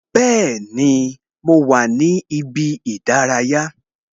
Bẹẹni, mo wà ní ibi ìdárayá